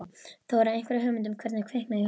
Þóra: Einhverja hugmynd um hvernig kviknaði í honum?